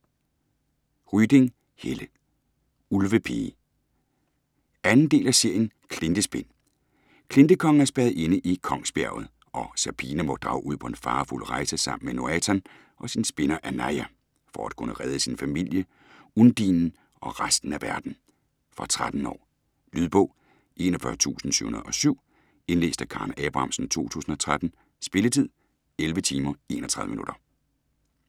Ryding, Helle: Ulvepige 2. del af serien Klintespind. Klintekongen er spærret inde i Kongsbjerget og Serpina må drage ud på en farefuld rejse sammen med Noatan og sin spinder Anaja, for at kunne redde sin familie, Undinen og resten af verden. Fra 13 år. Lydbog 41707 Indlæst af Karen Abrahamsen, 2013. Spilletid: 11 timer, 31 minutter.